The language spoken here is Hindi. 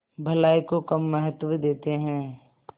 भलाई को कम महत्व देते हैं